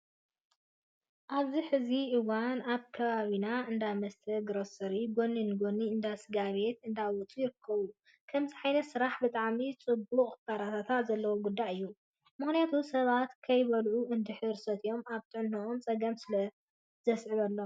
ኣብዚ ሕዚ እዋን ኣብ ከባቢታት እንዳመስተን ግሮሰሪን ጎኒ ንጎኒ እንዳ ስጋ ቤት እንዳውፅኡ ይርከብ። ከምዚ ዓይነት ስራሕ ብጣዕሚ ዕቡቅን ክበራታዕ ዘለዎ ጉዳይ እዩ። ምክንያቱ ሰባት ከይበልዑ እንድሕር ሰትዮም ኣብ ጥዕነኦም ፀገም ስለ ዘዕበሎም።